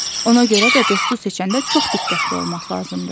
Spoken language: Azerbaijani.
Ona görə də dostu seçəndə çox diqqətli olmaq lazımdır.